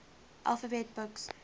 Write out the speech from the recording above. alphabet books